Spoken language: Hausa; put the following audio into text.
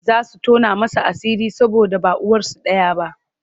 Za su tona masa asiri saboda ba uwarsu ɗaya ba.